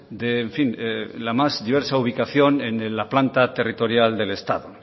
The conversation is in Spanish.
de en fin la más diversa ubicación en la planta territorial del estado